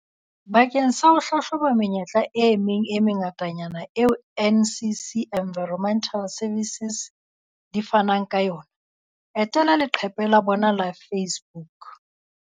Bakeng sa ho hlahloba menyetla e meng e mengatanyana eo NCC Environmental Services di fanang ka yona, etela leqephe la bona la Face-book.